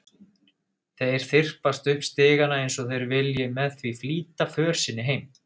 Þeir þyrpast upp stigana eins og þeir vilji með því flýta för sinni heim.